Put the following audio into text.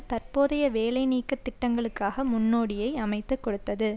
தற்போதைய வேலைநீக்கத் திட்டங்களுக்காக முன்னோடியை அமைத்து கொடுத்தது